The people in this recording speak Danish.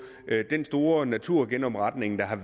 den store naturgenopretning